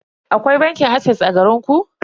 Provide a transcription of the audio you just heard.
Akwai bankin ases a garinku?